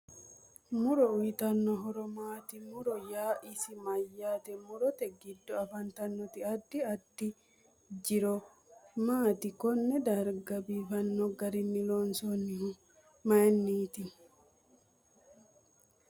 Muro uyiitanno horo maati muro yaa isi mayaate murote giddo afantannoti addi addi. jiro maati konne darga biifanno garinni loonsoonihu mayiiniti